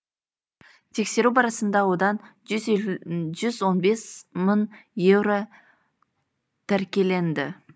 тексеру барысында одан жүз он бес мың еуро тәркіленді